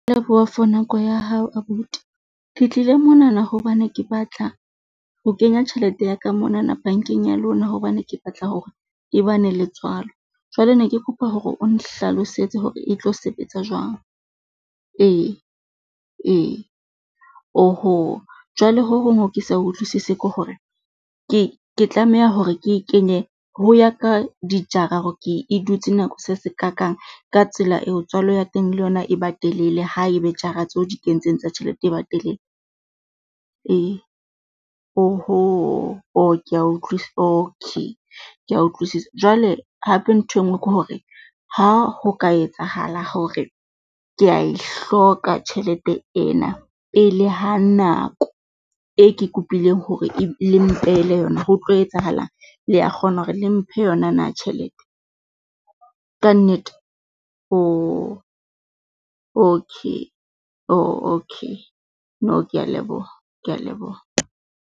Leboha for nako ya hao abuti, ke tlile monana hobane ke batla ho kenya tjhelete ya ka monana bankeng ya lona, hobane ke batla hore e ba ne le tswalo. Jwale ne ke kopa hore o nhlalosetse hore e tlo sebetsa jwang ee, ee. Oho jwale ho hong ho ke sa utlwisise ke hore ke ke tlameha hore ke kenye ho ya ka dijara hore ke e dutse nako se se kakang ka tsela eo tswalo ya teng, le yona e batelele ha e be jara tseo di kentseng tsa tjhelete e ba telele? Ee oho kea okay. Ke a utlwisisa jwale hape ntho e nngwe ke hore ha ho ka etsahala hore ke a e hloka tjhelete ena e le ha nako e ke kopile hore le mpehele yona ho tlo etsahalang? Le ya kgona hore le mphe yona na tjhelete? Kannete? okay ooh okay. No, kea leboha, kea leboha.